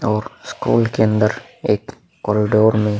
और स्कूल के अंदर एक कोरिडोर में --